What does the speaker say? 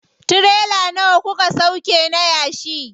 Tirela nawa kuka sauƙe na yashi?